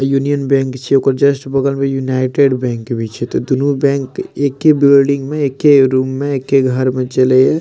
Union Bank छिये ओकर just United Bank भी छै ते दुनो बैंक एके बिल्डिंग में एके रूम में एके घर में चले या।